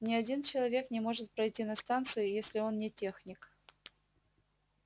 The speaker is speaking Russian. ни один человек не может пройти на станцию если он не техник